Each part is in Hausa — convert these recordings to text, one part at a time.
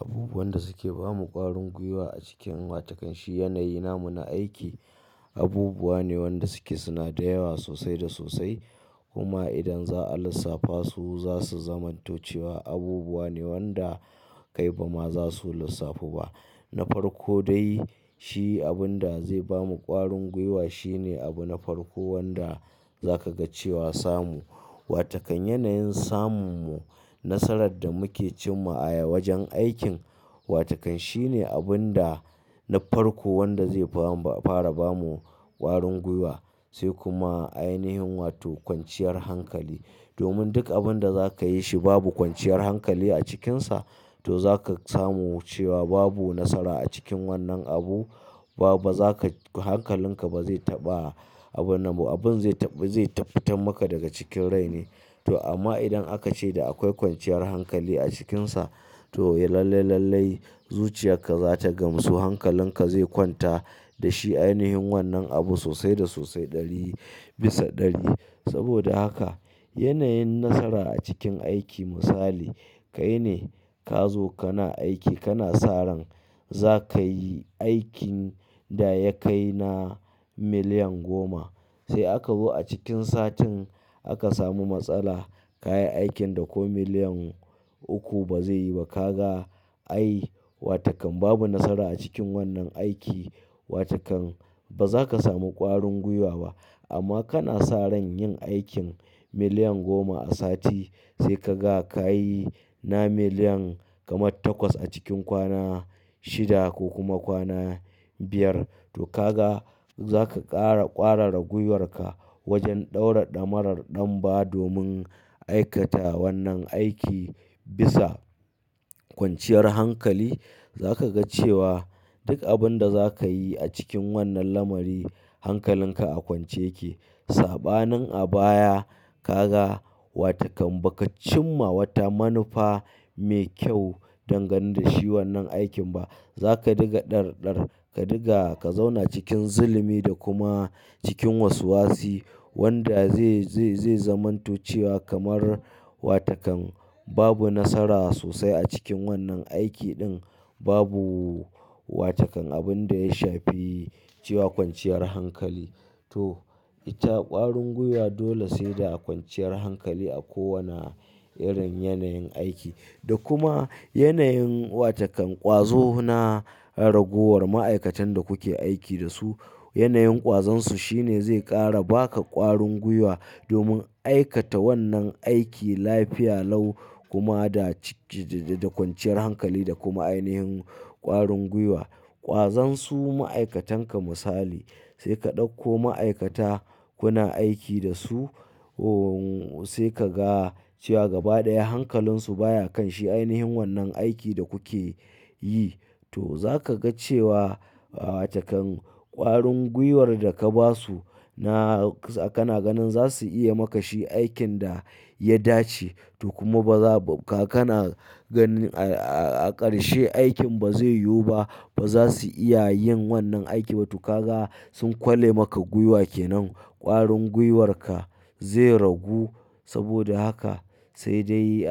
Abubuwan da suke bamu ƙwarin gwiwa a cikin wata kan shi yanayi namu na aiki, abubuwa ne wanda suke suna da yawa sosai da sosai. Kuma idan za a lissafa su zasu zamanto cewa abubuwa ne wanda kai bama zasu lissafu ba. Na farko dai, shi abin da zai bamu ƙwarin gwiwa shine abu na farko wanda za ka ga cewa samu. Wata kan yanayin samu nasarar da muje cimma a wajen aikin, watakan shine abinda na farko wanda zai bamu a fara bamu ƙwarin gwiwa. Sai kuma ainihin wato kwanciyar hankali. Domin duk abin da za ka yi shi babu kwanciyar hankali a cikinsa, to za ka samu cewa babu nasara a cikin wannan abu. Ba, ba za ka, hankalinka ba zai taɓa abun nan ba. Abin zai tafi, zai tafitan maka daga cikin rai ne. To amma idan aka ce da akwai kwanciyar hankali a cikinsa, to ya lalle lalle zuciyarka za ta gamsu. Hankalinka zai kwanta da shi a ainihin wannan abu sosai da sosai ɗari bisa ɗari. Saboda haka, yanayin nasara a cikin aiki misali, kai ne ka zo kana aiki kana sa ran za ka yi aikin da ya kai na miliyan goma. Sai aka zo a cikin satin aka samu matsala, ka yi aikin da ko miliyan uku ba zai yi ba. Ka ga ai, wa takan babu nasara a cikin wannan aiki. Watakan ba zaka samu ƙwarin gwiwa ba. Amma kana sa ran yin aikin miliyan goma a sati, sai ka ga ka yi na miliyan kamar takwas a cikin kwana shida ko kuma kwana biyar. To ka ga za ka ƙara ƙwarara gwiwarka wajen ɗaura damarar ɗanba domin aikata wannan aiki bisa kwanciyar hankali. Za kaga cewa duk abinda za kayi a cikin wannan lamari, hankalin ka a kwance. Saɓanin a baya ka ga wa takan ba ka cimma wata manufa mai kyau dangane da shi wannan aikin ba. Za ka diga dar dar, ka diga ka zauna cikin zulimi da kuma cikin waswasi wanda zai zamanto cewa kamar wa takan babu nasara sosai a cikin wannan aiki ɗin. Babu wa takan abin da ya shafi cewa kwanciyar hankali. To ita ƙwarin gwiwa dole sai da kwanciyar hankali a kowane irin yanayin aiki. Da kuma yanayin wa takan ƙwazo na ragowar ma'aikatan da kuke aiki da su. Yanayin ƙwazonsu shine zai ƙara baka ƙwarin gwiwa domin aikata wannan aiki lafiya lau kuma da ci-- da kwanciyar hankali da kuma ainihin ƙwarin gwiwa. Ƙwazonsu ma'aikatanka misali, sai ka ɗauko ma'aikata kuna aiki da su, ohhh sai ka ga cewa gaba ɗaya hankalinsu baya kan shi ainihin wannan aiki da kuke yi. To za ka ga cewa wa takan ƙwarin gwiwar da ka ba su na kana ganin za su iya maka shi aikin da ya dace. To kuma ba za ka, kana ganin a ƙarshe aikin ba zai yiwu ba. Ba za su iya yin wannan aiki ba. To ka ga sun kwale maka gwiwa ke nan. Kwarin gwiwarka ze ragu saboda haka sai dai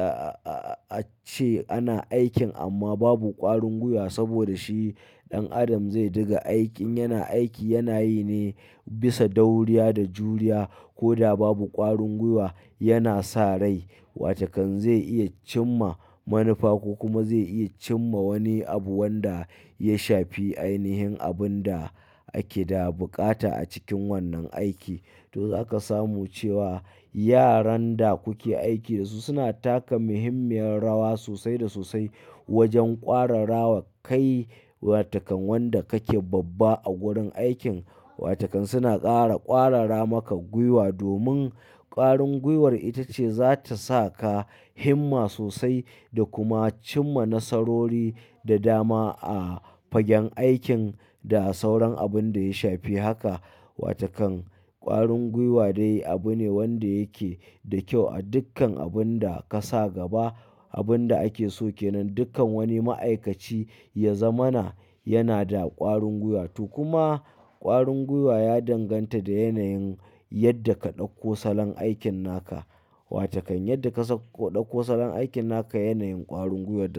ace ana aikin amma babu kwarin gwiwa saboda shi dan adam ze diga aikin yana aiki yana yi ne bisa dauriya da juriya. Koda babu kwarun gwiwa yana sa rai. Wa takan zai iya cimma manufa ko kuma zai iya cimma wani abu wanda ya shafi ainihin abin da ake da bukata a cikin wannan aiki. To za ka samu cewa yaran da kuke aiki da su suna taka muhimmiyar rawa sosai da sosai wajen ƙwarara wa kai wa takan wanda kake babba a wurin aikin. Wa takan suna ƙara ƙwarara maka gwiwa domin ƙwarin gwiwar ita ce za ta sa ka himma sosai da kuma cimma nasarori da dama a fagen aikin da sauran abin da ya shafi haka. Wa takan ƙwarin gwiwa dai abu ne wanda yake da kyau a dukkan abun da ka sa gaba. Abin da ake so ke nan dukkan wani ma'aikaci ya zamana yana da ƙwarin gwiwa. To kuma ƙwarin gwiwa ya danganta da yanayin yadda ka ɗauko salon aikin naka. Wa takan yadda ka ɗakko salan aikin naka yanayin ƙwarin gwiwar da.